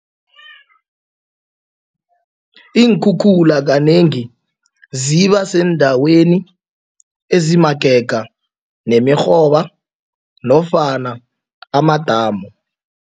Iinkhukhula kanengi ziba seendaweni ezimagega nemirhoba nofana amadamu.